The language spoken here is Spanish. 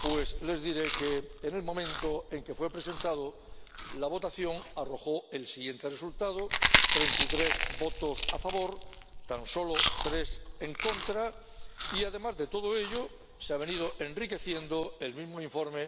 pues les diré que en el momento en que fue presentado, la votación arrojó el siguiente resultado 33 votos a favor, tan solo 3 en contra y, además de todo ello, se ha venido enriqueciendo el mismo informe